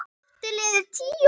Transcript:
Aftur liðu tíu ár.